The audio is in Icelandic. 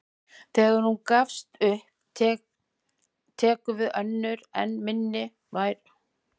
Þegar hún gefst upp tekur við önnur enn minni vera með enn minni skæri.